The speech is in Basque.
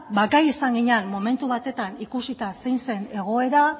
gai izan ginen momentu batetan ikusita zein zen egoera